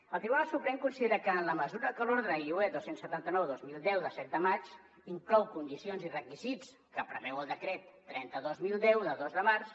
el tribunal suprem considera que en la mesura que l’ordre iue dos cents i setanta nou dos mil deu de set de maig inclou condicions i requisits que preveu el decret trenta dos mil deu de dos de març